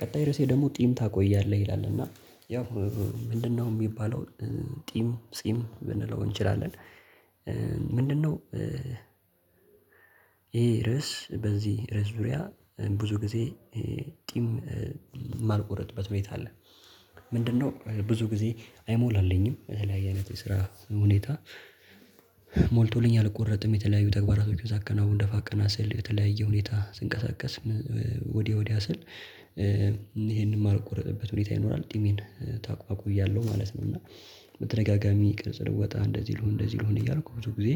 ቀጣይ ርዕሴ ደግሞ ጢም ታቆያለህ ይላል። እና ያው ምንድነው የሚባለው ጢም ጺም ብንለው እንችላለን። ምንድነው ይሄ ርዕስ፤ በዚህ ርዕስ ዙሪያ ብዙ ጊዜ ጢም የማልቆረጥበት ቤት አለ። ምንድነው ብዙ ጊዜ አይሞላልኝም። የተለያየ አይነት ስራ ሁኔታ ሞልቶልኝ አልቆረጥም። የተለያዩ ተግባራቶችን ሳከናውን፤ ደፋ ቀና ስል፤ የተለያየ ሁኔታ ስንቀሳቀስ፤ ወዲህ ወዲያ ስል፤ ይሄንን የማልቆረጥበት ሁኔታ ይኖራል ጢሜን አቆያለሁ ማለት ነው እና በተደጋጋሚ ቅርጽ ልወጣ፣ እንደዚህ ልሁን እንደዚህ ልሁን እያልኩ ብዙ ጊዜ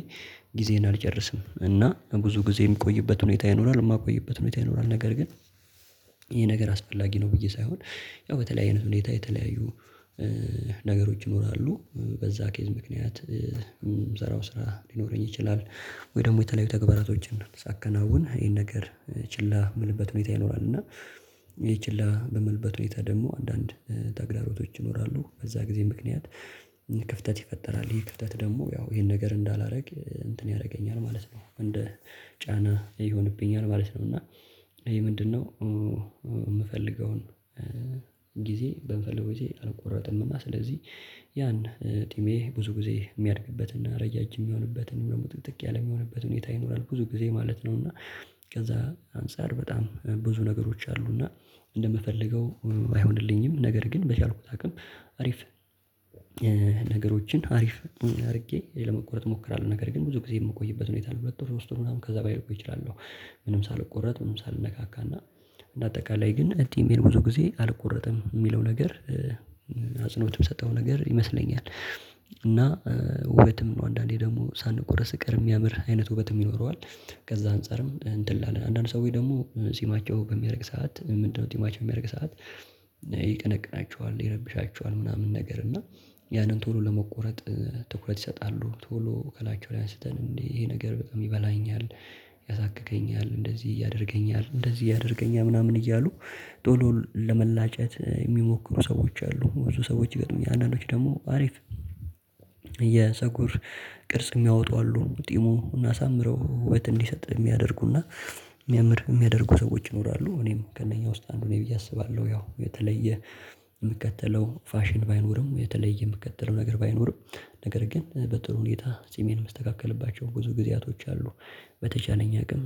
ጊዜዬን አልጨርስም። እና ብዙ ግዜ የምቆይበት ሁኔታ ይኖራል የማልቆይበት ሁኔታ ይኖራል። ነገር ግን ይሄ ነገር አስፈላጊ ነው ብዬ ሳይሆን ያው በተለያየ አይነት ሁኔታ የተለያዩ ነገሮች ይኖራሉ። በዛ ኬዝ ምክንያት የምሰራው ስራ ሊኖረኝ ይችላል ወይ ደግሞ የተለያዩ ተግባራቶችን ሳከናውን ይሄን ነገር ችላ የምልበት ሁኔታ ይኖራል። እና ይሄ ችላ በምልበት ሁኔታ ደግሞ አንዳንድ ተግዳሮቶች ይኖራሉ። በዛ ጊዜ ምክንያት ክፍተት ይፈጠራል። ይሄ ክፍተት ደግሞ ያው ይሄን ነገር እንዳላደርግ እንትን ያደርገኛል ማለት ነው። እንደ ጫና ይሆንብኛል ማለት ነው። እና ይሄ ምንድነው የምፈልገውን ጊዜ በምፈልገው ግዜ አልቆረጥም እና ስለዚህ ያን ጢሜ ብዙ ጊዜ የሚያድግበትና ረጃጅም የሚሆንበትን ደግሞ ጥቅጥቅ ያለም የሚሆንበት ሁኔታ ይኖራል። ብዙ ጊዜ ማለት ነው። እና ከዛ አንፃር በጣም ብዙ ነገሮች አሉና እንደምፈልገው አይሆንልኝም። ነገር ግን በቻልኩት አቅም አሪፍ ነገሮችን አሪፍ አድርጌ ለመቆረጥ እሞክራለሁ። ነገር ግን ብዙ ጊዜ የምቆይበት ሁኔታ አለ። ለሁለት ወር ሶስት ምናምን ከዛ በላይ ልቆይ እችላለሁ። ምንም ሳልቆረጥ ምንም ሳልነካካና እንደ አጠቃላይ ግን ጢሜን ብዙ ጊዜ አልቆረጥም የሚለው ነገር አጽንኦትም የሚሰጠው ነገር ይመስለኛል። እና ውበትም ነው። አንዳንዴ ደግሞ ሳንቆረጥ ስንቀር የሚያምር አይነት ውበትም ይኖረዋል። ከዛ አንፃርም እንትን እንላለን። አንዳንድ ሰዎች ደግሞ ጺማቸው በሚያድግ ሰዓት ምንድነው ጺማቸው በሚያድግ ሰዓት ይቀነቅናቸዋል፣ ይረብሻቸዋል ምናምን ነገር እና ያንን ቶሎ ለመቆረጥ ትኩረት ይሰጣሉ። ቶሎ ከላያቸው ላይ አንስተው "እንዴ ይሄ ነገር በጣም ይበላኛል፣ ያሳክከኛል፣ እንደዚህ ያደርገኛል፣ እንደዚህ ያደርገኛል" ምናምን እያሉ ቶሎ ለመላጨት የሚሞክሩ ሰዎች አሉ። ብዙ ሰዎች ይገጥሙኛል። አንዳንዶች ደግሞ አሪፍ የፀጉር ቅርጽ የሚያወጡ አሉ። ጢሙን እሳምረው ውበት እንዲሰጥ የሚያደርጉና የሚያምር የሚያደርጉ ሰዎች ይኖራሉ። እኔም ከእነኛ ውስጥ አንዱ ነኝ ብዬ አስባለሁ። ያው የተለየ የምከተለው ፋሽን ባይኖርም፣ የተለየ የምከተለው ነገር ባይኖርም፤ ነገር ግን በጥሩ ሁኔታ ጺሜን የምስተካከልባቸው ብዙ ግዚያቶች አሉ። በተቻለኝ አቅም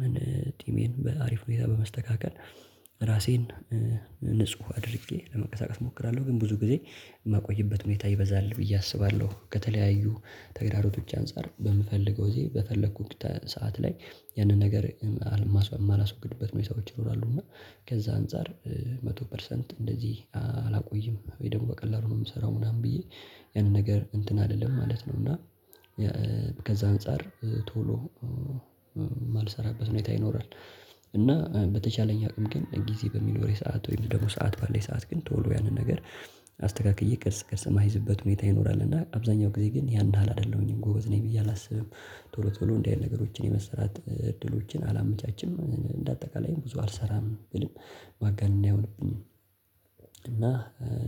ጢሜን በአሪፍ ሁኔታ በመስተካከል ራሴን ንጹህ አድርጌ ለመንቀሳቀስ እሞክራለሁ። ግን ብዙ ግዜ የማቆይበት ሁኔታ ይበዛል ብዬ አስባለሁ። ከተለያዩ ተግዳሮቶች አንፃር በምፈልገው ግዜ በፈለኩት ሰዓት ላይ ያንን ነገር የማላስወግድበት ሁኔታዎች ይኖራሉ። እና ከዛ አንፃር መቶ ፐርሰንት እንደዚህ አላቆይም ወይም ደግሞ በቀላሉ ነው የምሰራው ምናምን ብዬ ያንን ነገር እንትን አይደለም ማለት ነው እና ከዛ አንፃር ቶሎ የማልሰራበት ሁኔታ ይኖራል። እና በተቻለኝ አቅም ግን ግዜ በሚኖረኝ ሰዓት ወይም ደግሞ ሰዓት ባለኝ ሰዓት ግን ቶሎ ያንን ነገር አስተካክዬ ቅርጽ ቅርጽ የማስይዝበት ሁኔታ ይኖራል። እና አብዛኛው ጊዜ ግን ያን ያህል አይደለሁኝም። ጎበዝ ነኝ ብዬ አላስብም። ቶሎ ቶሎ እንዲህ ነገሮችን የመሰራት እድሎችን አላመቻችም። እንደ አጠቃላይም ብዙ አልሰራም ብልም ማጋነን አይሆንብኝም። እና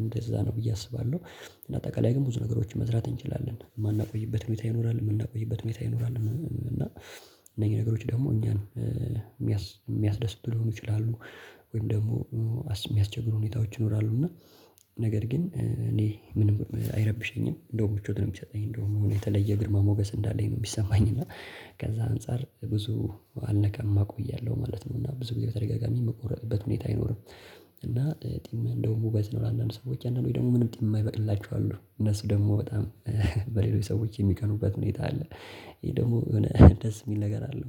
እንደዛ ነው ብዬ አስባለሁ። እና አጠቃላይ ግን ብዙ ነገሮችን መስራት እንችላለን። የማናቆይበት ሁኔታ ይኖራል የምናቆይበት ሁኔታ ይኖራል። እና እነኚህ ነገሮች ደግሞ እኛን የሚያስደስቱ ሊሆኑ ይችላሉ። ወይም ደግሞ የሚያስቸግሩ ሁኔታዎች ይኖራሉ። እና ነገር ግን እኔ ምንም አይረብሸኝም። እንደውም ምቾት ነው የሚሰጠኝ። እንደውም የተለየ ግርማ ሞገስ እንዳለኝ ነው የሚሰማኝ። እና ከዛ አንፃር ብዙ አልነካም አቆያለሁ ማለት ነው። እና ብዙ ጊዜ በተደጋጋሚ የምቆረጥበት ሁኔታ አይኖርም። እና ጢም እንደውም ውበት ነው ለአንዳንድ ሰዎች። አንዳንዶች ደግሞ ምንም ጢም የማይበቅላቸው አሉ። እነሱ ደግሞ በጣም በሌሎች ሰዎች የሚቀኑበት ሁኔታ አለ። ይህ ደግሞ የሆነ ደስ የሚል ነገር አለው።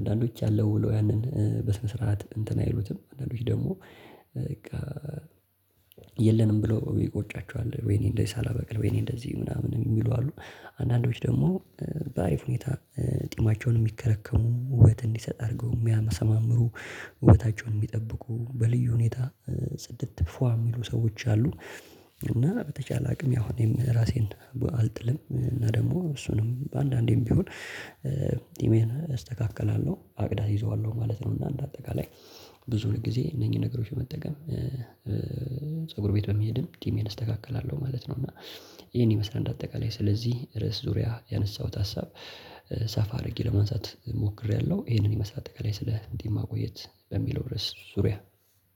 አንዳንዶች አለ ብለው ያንን በስነ ስርዓት እንትን አይሉትም። አንዳንዶች ደግሞ በቃ የለንም ብለው ይቆጫቸዋል። "ወይኔ እንደዚህ ሳላበቅል፤ ወይኔ እንደዚህ" ምናምን የሚሉ አሉ። አንዳንዶች ደግሞ በአሪፍ ሁኔታ ጢማቸውን የሚከረከሙ፤ ውበት እንዲሰጥ አድርገው የሚያሰማምሩ፤ ውበታቸውን የሚጠብቁ፤ በልዩ ሁኔታ ጽድት ፏ የሚሉ ሰዎች አሉ። እና በተቻለ አቅም ያው እኔም ራሴን አልጥልም። እና ደግሞ እሱንም አንዳንዴም ቢሆን ጢሜን እስተካከላለሁ። አቅድ አስይዘዋለሁ ማለት ነው። እና እንደ አጠቃላይ ብዙ ጊዜ እነኚህን ነገሮች መጠቀም ፀጉር ቤት በመሄድም ጢሜን እስተካከላለሁ ማለት ነው። እና ይሄን ይመስላል እንደ አጠቃላይ ስለዚህ ርዕስ ዙሪያ ያነሳሁት ሀሳብ። ሰፋ አድርጌ ለማንሳት ሞክሬያለሁ። ይሄንን ይመስላል አጠቃላይ ስለ ጢም ማቆየት በሚለው ርዕስ ዙሪያ።